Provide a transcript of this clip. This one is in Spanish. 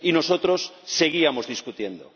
y nosotros seguíamos debatiendo.